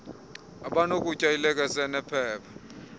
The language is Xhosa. abanakutya ilekese enephepha